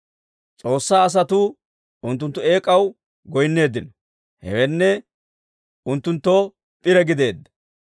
S'oossaa asatuu unttunttu eek'aw goyinneeddino; hewenne, unttunttoo p'ire gideedda.